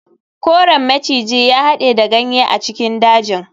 Koren maciji ya hade da ganye a cikin dajin.